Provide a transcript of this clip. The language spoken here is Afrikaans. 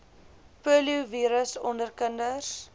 poliovirus onder kinders